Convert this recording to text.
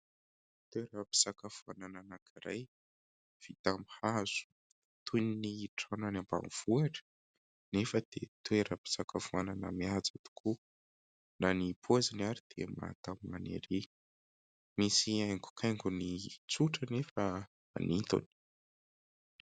Toeram-pisakafoanana anankiray vita amin'ny hazo, toy ny trano any ambanivohitra anefa dia toeram-pisakafoanana mihaja tokoa na ny paoziny ary dia mahatamana ery, misy haingokaingony tsotra nefa manintona.